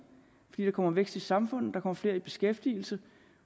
fordi der kommer vækst i samfundet der kommer flere i beskæftigelse